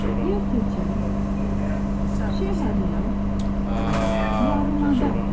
Yırtıcı, şəhərlər, yarımoda.